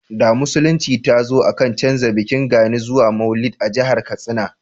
da musulunci ta zo a ka canja bikin gani zuwa maulud a jahar katsina